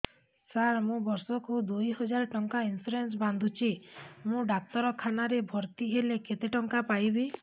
ସାର ମୁ ବର୍ଷ କୁ ଦୁଇ ହଜାର ଟଙ୍କା ଇନ୍ସୁରେନ୍ସ ବାନ୍ଧୁଛି ମୁ ଡାକ୍ତରଖାନା ରେ ଭର୍ତ୍ତିହେଲେ କେତେଟଙ୍କା ପାଇବି